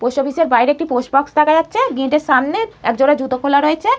Post অফিসের বাইরে একটি পোস্ট বক্স দেখা যাচ্ছে-এ গেটের সামনে এক জোড়া জুতা খোলা রয়েচে-এ।